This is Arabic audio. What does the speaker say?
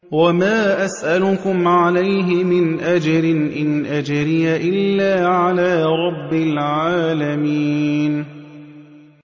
وَمَا أَسْأَلُكُمْ عَلَيْهِ مِنْ أَجْرٍ ۖ إِنْ أَجْرِيَ إِلَّا عَلَىٰ رَبِّ الْعَالَمِينَ